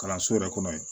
Kalanso yɛrɛ kɔnɔ yen